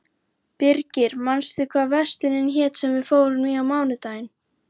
Birgir, manstu hvað verslunin hét sem við fórum í á mánudaginn?